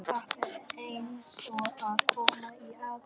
Þetta er eins og að koma í aðra veröld.